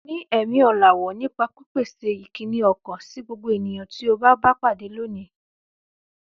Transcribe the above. Ní ẹ̀mí ọ̀làwọ́ nípa pípèsè ìkíni ọkàn sí gbogbo ènìyàn tí o bá pàdé lónìí.